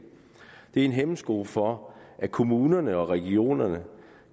det er en hæmsko for at kommunerne og regionerne